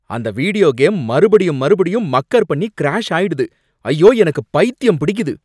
அந்த video game மறுபடியும், மறுபடியும் மக்கர் பண்ணி கிராஷ் ஆயிடுது. ஐயோ, எனக்கு பைத்தியம் பிடிக்குது